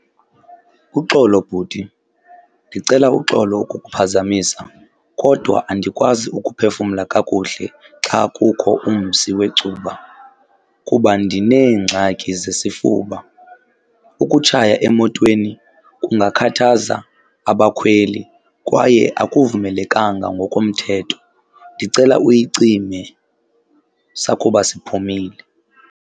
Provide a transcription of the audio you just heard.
Uxolo bhuti, ndicela uxolo ukukuphazamisa kodwa andikwazi ukuphefumla kakuhle xa kukho umsi wecuba kuba ndineengxaki zesifuba. Ukutshaya emotweni kungakhathaza abakhweli kwaye akuvumelekanga ngokomthetho. Ndicela uyicime sakuba siphumile.